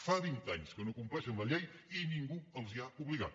fa vint anys que no compleixen la llei i ningú els ho ha obligat